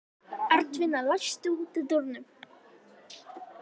Arnfinna, læstu útidyrunum.